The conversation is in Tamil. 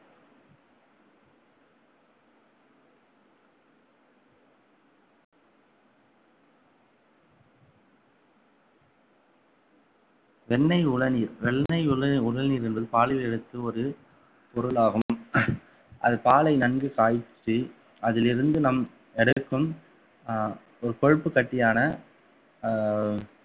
வெண்ணெய் உளநீர் வெண்ணெய் உள~ உளநீர் என்பது பாலில் எடுத்த ஒரு பொருளாகும் அது பாலை நன்கு காய்ச்சி அதிலிருந்து நாம் எடுக்கும் அஹ் ஒரு கொழுப்பு கட்டியான அஹ்